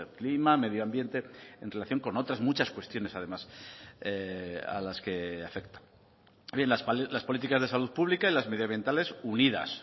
clima medio ambiente en relación con otras muchas cuestiones además a las que afecta las políticas de salud pública y las medioambientales